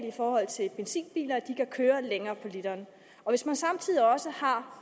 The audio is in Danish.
i forhold til benzinbiler at de kan køre længere på literen og hvis man samtidig også har